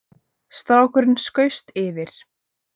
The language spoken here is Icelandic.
Strákurinn skaust yfir